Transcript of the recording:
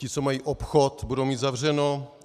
Ti, co mají obchod, budou mít zavřeno.